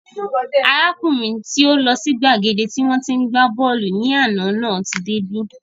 Arákùnrin tí ó lọ sí gbàgede tí wọ́n tí ń gbá bọ́ọ̀lù ní àná náà tí dé bí